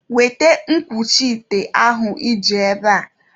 Weta nkwuchi ite ahụ iji ebe a!